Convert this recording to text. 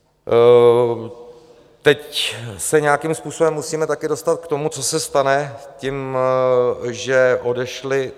Teď se nějakým způsobem musíme také dostat k tomu, co se stane tím, že odešli.